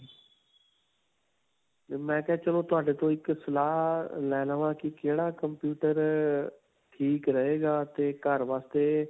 'ਤੇ ਮੈਂ ਕਿਹਾ ਚਲੋ ਤੁਹਾਡੇ ਤੋਂ ਇੱਕ ਸਲਾਹ ਲੈ ਲਵਾਂ ਕਿ ਕਿਹੜਾ computer ਅਅ ਠੀਕ ਰਹੇਗਾ 'ਤੇ ਘਰ ਵਾਸਤੇ.'